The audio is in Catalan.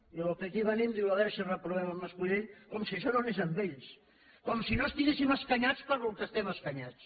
i al que aquí venim diu a veure si reprovem en mas colell com si això no anés amb ells com si no estiguéssim escanyats pel que estem escanyats